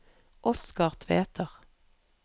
Oscar Tveter